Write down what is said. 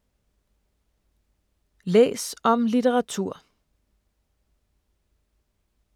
Læs om litteratur